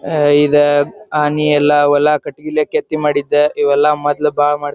ಅಹ್ ಇದ ಆನಿ ಎಲ್ಲಾ ಹೊಲಾ ಕಟ್ಟಿಗಿ ಇಲ್ಲೆ ಕೆತ್ತಿ ಮಾಡಿದ್ದ ಇವೆಲ್ಲಾ ಮೊದ್ಲ ಬಾಳ್ ಮಾಡ್--